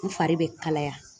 N fari bɛ kalaya.